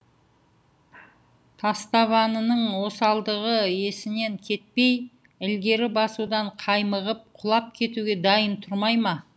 тастабанының осалдығы есінен кетпей ілгері басудан қаймығып құлап кетуге дайын тұрмай ма